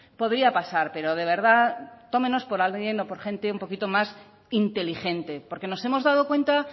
podría pasar pero de verdad tómenos por alguien o por gente un poquito más inteligente porque nos hemos dado cuenta